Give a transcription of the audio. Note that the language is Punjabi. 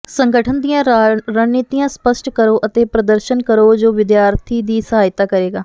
ਸੰਗਠਨ ਦੀਆਂ ਰਣਨੀਤੀਆਂ ਸਪਸ਼ਟ ਕਰੋ ਅਤੇ ਪ੍ਰਦਰਸ਼ਨ ਕਰੋ ਜੋ ਵਿਦਿਆਰਥੀ ਦੀ ਸਹਾਇਤਾ ਕਰੇਗਾ